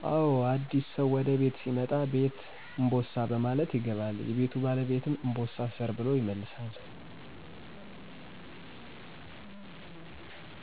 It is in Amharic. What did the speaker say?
አዎ አዲስ ሰው ወደ ቤት ሲመጣ ''ቤት እንቦሳ '' በማለት ይገባል። የቤቱ ባለቤትም ''እንቦሳ እሰር '' ብሎ ይመልሳል